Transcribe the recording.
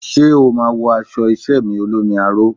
Ṣé o máa wọ aṣọ iṣẹ́ mi olómi aró?